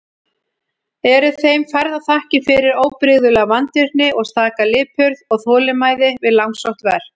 Eru þeim færðar þakkir fyrir óbrigðula vandvirkni og staka lipurð og þolinmæði við langsótt verk.